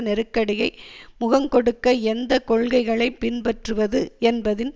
நெருக்கடியை முகங்கொடுக்க எந்த கொள்கைகளை பின்பற்றுவது என்பதின்